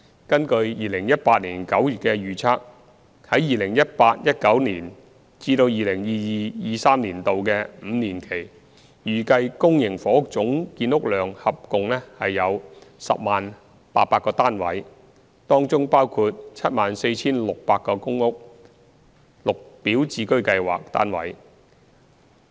根據2018年9月的預測，在 2018-2019 年度至 2022-2023 年度的五年期，預計公營房屋總建屋量合共約為 100,800 個單位，當中包括約 74,600 個公屋/綠表置居計劃單位。